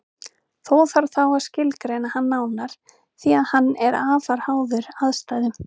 Þó þarf þá að skilgreina hann nánar því að hann er afar háður aðstæðum.